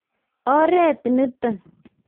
oret nito